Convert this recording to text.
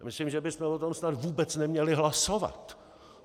Myslím, že bychom o tom snad vůbec neměli hlasovat!